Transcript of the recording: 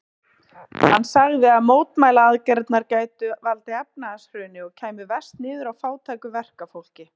Hann sagði að mótmælaaðgerðirnar gætu valdið efnahagshruni og kæmu verst niður á fátæku verkafólki.